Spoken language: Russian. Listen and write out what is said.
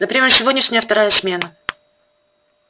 например сегодняшняя вторая смена